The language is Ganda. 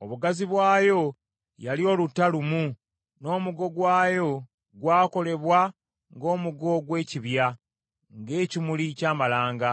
Obugazi bwayo yali oluta lumu, n’omugo gwayo gwakolebwa ng’omugo gw’ekibya, ng’ekimuli ky’amalanga.